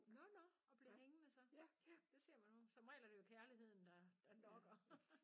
Nåh nåh og blev hængende så? Ja det ser man jo som regel er det jo kærligheden der der lokker